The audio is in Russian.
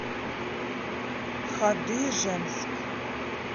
хадыженск